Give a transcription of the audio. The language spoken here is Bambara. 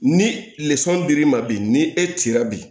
Ni dir'i ma bi ni e cira bi